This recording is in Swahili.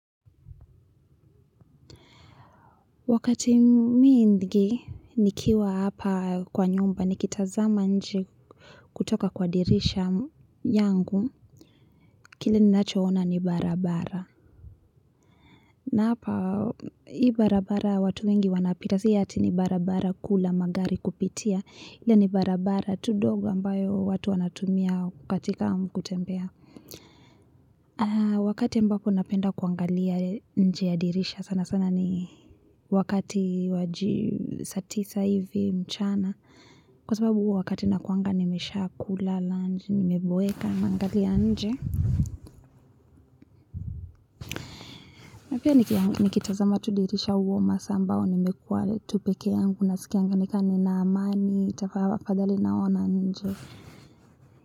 Wakati mwingi nikiwa hapa kwa nyumba nikitazama nje kutoka kwa dirisha yangu. Kile ninacho ona ni barabara. Na hapa hii barabara watu wengi wanapita si ati ni barabara kuu la magari kupitia ila ni barabara tu ndogo ambayo watu wanatumia katika kutembea wakati ambapo napenda kuangalia nje ya dirisha sana sana ni wakati saa tisa hivi mchana kwa sababu wakati nakuanga nimesha kula lunch nimeboeka nangalia nje na pia nikitazama tu dirisha hua masaa ambayo nimekuwa tu peke yangu nasikia nikama nina amani itafaa pahali naona nje.